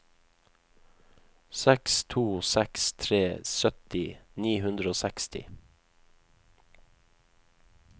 seks to seks tre sytti ni hundre og seksti